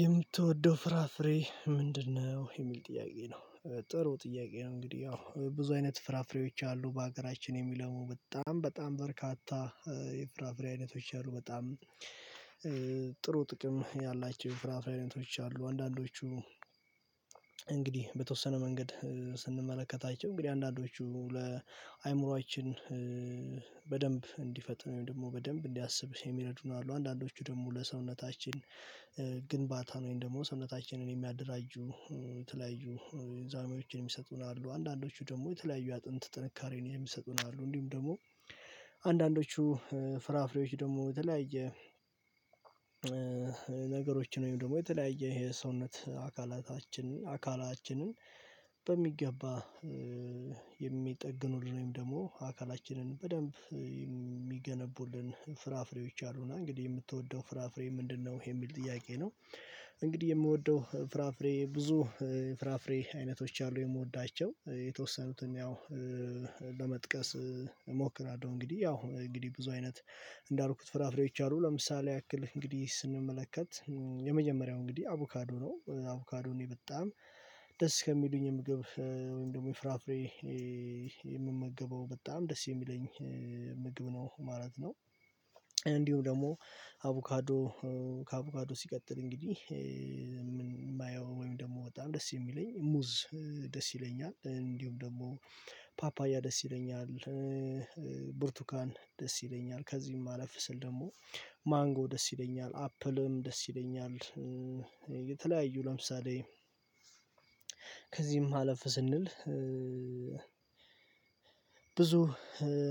የምትወደው ፍራፍሬ ምንድነው? የሚል ጥያቄ ነው። ጥሩ ጥያቄ ነው እንግዲህ ያው ብዙ አይነት ፍራፍሬዎች አሉ በሀገራችን የሚለው በጣም በጣም በርካታ። የፍራፍሬ አይነቶች አሉ በጣም ጥሩ ጥቅም ያላቸው የፍራፍሬ አይነቶች አሉ። አንዳንዶቹ እንግዲህ በተወሰነ መንገድ ስንመለከታቸው እንግዲህ አንዳንዶቹ ለአእምሮአችን በደንብ እንዲፈጥን ወይም ደግሞ በደንብ እንዲያስብ የሚረዱን አሉ። አንዳንዶቹ ደግሞ ለሰውነታችን ግንባታ ወይም ደግሞ ሰውነታችንን የሚያደራጁ የተለያዩ ሚዛኖችን የሚሰጡን አሉ። አንዳንዶቹ ደግሞ የተለያዩ አጥንት ጥንካሬን የሚሰጡን አሉ። እንዲሁም ደግሞ አንዳንዶቹ ፍራፍሬዎች ደግሞ የተለያየ ነገሮችን ወይም ደግሞ የተለያየ ይሄ ሰውነት አካላታችንን አካላችንን በሚገባ የሚጠግኑልን ወይም ደግሞ አካላችንን በደንብ የሚገነቡልን ፍራፍሬዎች አሉና። እንግዲህ የምትወደው ፍራፍሬ ምንድነው? የሚል ጥያቄ ነው። እንግዲህ የምወደው ፍራፍሬ ብዙ ፍራፍሬ አይነቶች አሉ የምወዳቸው የተወሰኑትን ያው ለመጥቀስ እሞክራለሁ። እንግዲህ ያው እንግዲህ ብዙ አይነት እንዳልኩት ፍራፍሬዎች አሉ። ለምሳሌ ያክል እንግዲህ ስንመለከት የመጀመሪያው እንግዲህ አቮካዶ ነው። አቮካዶ እኔ በጣም ደስ ከሚሉኝ ምግብ ወይም ደግሞ የፍራፍሬ የምመገበው በጣም ደስ የሚለኝ ምግብ ነው ማለት ነው። እንዲሁም ደግሞ አቮካዶ ከአቮካዶ ሲቀጥል እንግዲህ የማየው ወይም ደግሞ በጣም ደስ የሚለኝ ሙዝ ደስ ይለኛል። እንዲሁም ደግሞ ፓፓያ ደስ ይለኛል። ብርቱካን ደስ ይለኛል ከዚህም አለፍ ስል ደግሞ ማንጎ ደስ ይለኛል አፕልም ደስ ይለኛል። የተለያዩ ለምሳሌ ከዚህም አለፍ ስንል ብዙ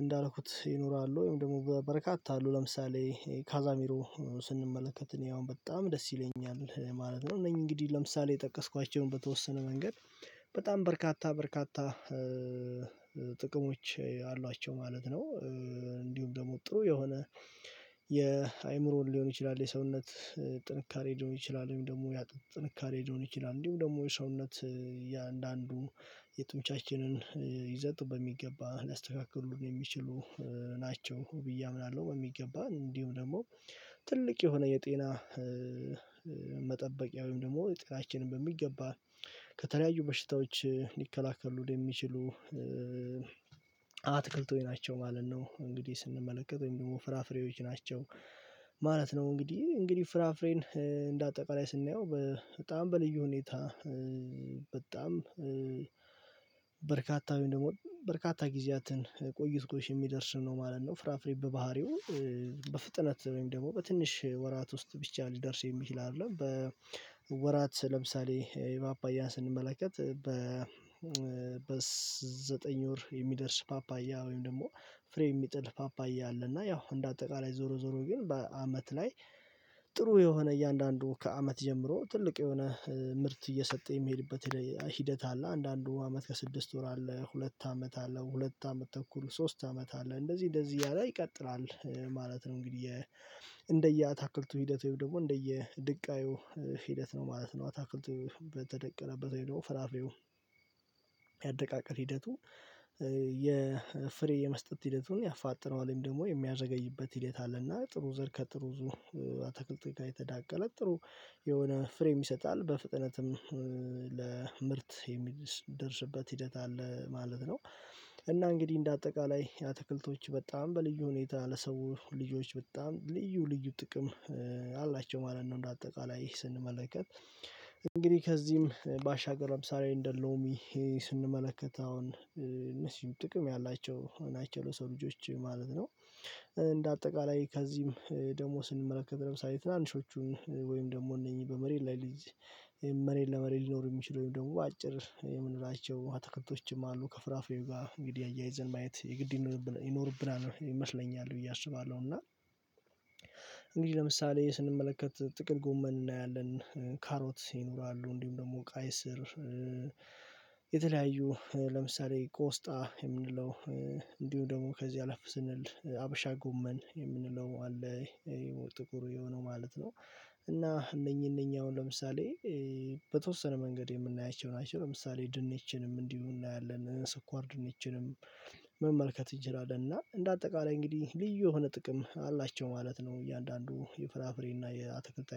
እንዳልኩት ይኖራሉ። ወይም ደግሞ በበረካታ አሉ ለምሳሌ ካዛሚሮ ስንመለከት እኔ አሁን በጣም ደስ ይለኛል ማለት ነው። እነኚህ እንግዲህ ለምሳሌ የጠቀስኳቸውን በተወሰነ መንገድ በጣም በርካታ በርካታ ጥቅሞች አሏቸው ማለት ነው። እንዲሁም ደግሞ ጥሩ የሆነ የአእምሮን ሊሆን ይችላል የሰውነት ጥንካሬ ሊሆን ይችላል። ወይም ደግሞ የአጥንት ጥንካሬ ሊሆን ይችላል። እንዲሁም ደግሞ የሰውነት እያንዳንዱ የጡንቻችንን ይዘት በሚገባ ሊያስተካክሉ የሚችሉ ናቸው ብዬ አምናለሁ። በሚገባ እንዲሁም ደግሞ ትልቅ የሆነ የጤና መጠበቂያ ወይም ደግሞ ጤናችንን በሚገባ ከተለያዩ በሽታዎች ሊከላከሉ የሚችሉ አትክልቶች ናቸው ማለት ነው። እንግዲህ ስንመለከት ወይም ደግሞ ፍራፍሬዎች ናቸው ማለት ነው። እንግዲህ እንግዲህ ፍራፍሬን እንደ አጠቃላይ ስናየው በጣም በልዩ ሁኔታ በጣም በርካታ ወይም ደግሞ በርካታ ጊዜያትን ቆይቶ የሚደርስ ነው ማለት ነው። ፍራፍሬ በባህሪው በፍጥነት ወይም ደግሞ በትንሽ ወራት ውስጥ ብቻ ሊደርስ የሚችል አይደለም በወራት ለምሳሌ የፓፓያን ስንመለከት በ በዘጠኝ ወር የሚደርስ ፓፓያ ወይም ደግሞ ፍሬ የሚጥል ፓፓያ አለ። እና ያው እንደ አጠቃላይ ዞሮ ዞሮ ግን በአመት ላይ ጥሩ የሆነ እያንዳንዱ ከአመት ጀምሮ ትልቅ የሆነ ምርት እየሰጠ የሚሄድበት ሂደት አለ አንዳንዱ አመት ከስድስት ወር አለ ሁለት አመት አለ ሁለት አመት ተኩል ሶስት አመት አለ እንደዚህ እንደዚህ እያለ ይቀጥላል ማለት ነው። እንግዲህ እንደየአታክልቱ ሂደት ወይም ደግሞ እንደየድቃዩ ሂደት ነው ማለት ነው። አታክልቱ በተደቀለበት ወይም ደግሞ ፍራፍሬው ያደቃቀል ሂደቱ የፍሬ የመስጠት ሂደቱን ያፋጥነዋል ወይም ደግሞ የሚያዘገይበት ሂደት አለና ጥሩ ዘር ከጥሩ አትክልቶች ጋር የተዳቀለ ጥሩ የሆነ ፍሬም ይሰጣል በፍጥነትም ለምርት የሚደርስበት ሂደት አለ ማለት ነው። እና እንግዲህ እንደ አጠቃላይ አትክልቶች በጣም በልዩ ሁኔታ ለሰው ልጆች በጣም ልዩ ልዩ ጥቅም አላቸው ማለት ነው። እንደ አጠቃላይ ስንመለከት እንግዲህ ከዚህም ባሻገር ለምሳሌ እንደ ሎሚ ስንመለከት አሁን እነዚህን ጥቅም ያላቸው ናቸው ለሰው ልጆች ማለት ነው። እንደ አጠቃላይ ከዚህም ደግሞ ስንመለከት ለምሳሌ ትናንሾቹን ወይም ደግሞ እነኚህ በመሬት ሊይዝ መሬት ለመሬት ሊኖር የሚችል ወይም በአጭር የምንላቸው አትክልቶችም አሉ ከፍራፍሬው ጋር እንግዲህ አያይዘን ማየት የግድ ይኖርብናል ይመስለኛል ብዬ አስባለሁ። እና እንግዲህ ለምሳሌ ስንመለከት ጥቅል ጎመን እናያለን ካሮት ይኖራሉ እንዲሁም ደግሞ ቀይ ስር የተለያዩ ለምሳሌ ቆስጣ የምንለው እንዲሁም ደግሞ ከዚህ አለፍ ስንል ሀበሻ ጎመን የምንለው አለ ይሄ ጥቁር የሆነው ማለት ነው። እና እነኚህ እነኚህ አሁን ለምሳሌ በተወሰነ መንገድ የምናያቸው ናቸው ለምሳሌ ድንችንም እንዲሁ እናያለን ስኳር ድንችንም መመልከት እንችላለን እና እንደ አጠቃላይ እንግዲህ ልዩ የሆነ ጥቅም አላቸው ማለት ነው። እያንዳንዱ የፍራፍሬ እና የአትክልት አይነት